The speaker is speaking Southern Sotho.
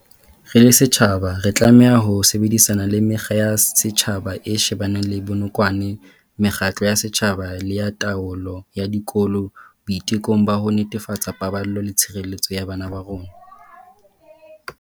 Re le setjhaba, re tlameha ho sebedisana le Mekga ya Setjhaba e shebaneng le Bonokwane mekgatlo ya setjhaba le ya taolo ya dikolo boitekong ba ho netefatsa paballo le tshireletso ya bana ba rona.